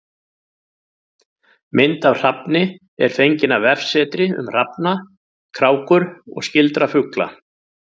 Mynd af hrafni er fengin af vefsetri um hrafna, krákur og skyldra fugla.